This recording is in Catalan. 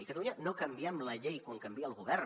a catalunya no canviem la llei quan canvia el govern